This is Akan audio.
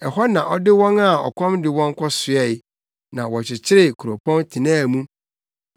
Ɛhɔ na ɔde wɔn a ɔkɔm de wɔn kɔsoɛe, na wɔkyekyeree kuropɔn tenaa mu.